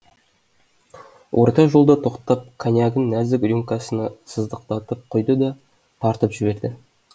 орта жолда тоқтап конъягын нәзік рюмкасына сыздықтатып құйды да тартып жіберді